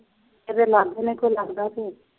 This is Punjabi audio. ਮੇਰੇ ਲਾਗੋਂ ਨਹੀਂ ਕੋਈ ਲੰਘਦਾ ਤੇ